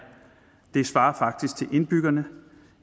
det svarer faktisk til indbyggerne